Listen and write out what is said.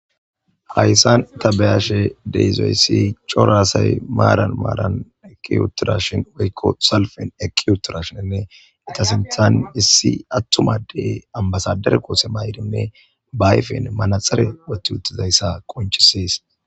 Hayssan ta be'ashe dizay cora asay maran maran eqqi uttidashin woyko salfen eqqi uttidashin etta sinthan issi atuma addey ambasaderey kotte mayidinne ayfen manaxire qonccisses.